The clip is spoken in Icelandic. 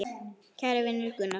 Kæri vinur Gunnar.